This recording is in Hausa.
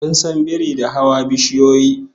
An san biri da hawa kan bishiyoyi